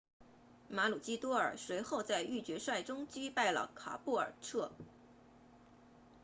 马鲁基多尔 maroochydore 随后在预决赛中击败了卡布尔彻 caboolture